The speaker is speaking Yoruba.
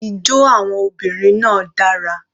Ijó àwọn obìnrin náà dara.